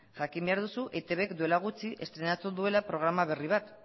jakin behar duzu eitbk duela gutxi estreinatu duela programa berri bat